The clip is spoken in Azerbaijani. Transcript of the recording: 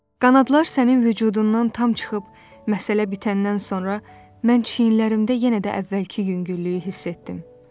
Qanadlar sənin vücudundan tam çıxıb məsələ bitəndən sonra mən çiyinlərimdə yenə də əvvəlki yüngüllüyü hiss etdim.